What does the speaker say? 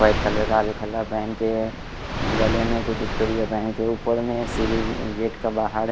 white colour का आगे पहन के है गले में कुछ के ऊपर में सीढ़ी गेट का बाहर--